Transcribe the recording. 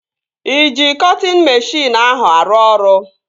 Ị ji cọtịn meshịn ahụ arụ ọrụ?